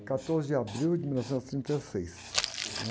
quatorze de abril de mil novecentos e trinta e seis